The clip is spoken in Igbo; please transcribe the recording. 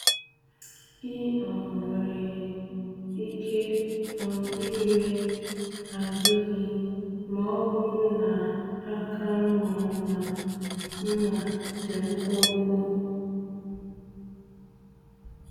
Ị um nwere ike um ire azụ gị ma ọ bụrụ na aka mma mma mma dị mkpụmkpụ.